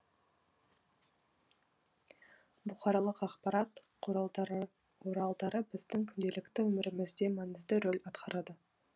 бұқаралық ақпарат құралдары біздің күнделікті өмірімізде маңызды рөл атқарады